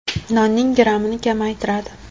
Nonning grammini kamaytiradi.